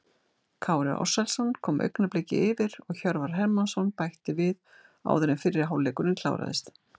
Kári Ársælsson kom Augnabliki yfir og Hjörvar Hermansson bætti við áður en fyrri hálfleikurinn kláraðist.